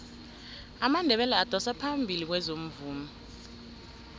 amandebele adosa phambili kwezomvumo